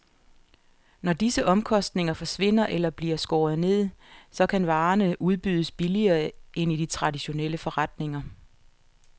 Når disse omkostninger forsvinder eller bliver skåret ned, så kan varerne udbydes billigere end i de traditionelle forretninger.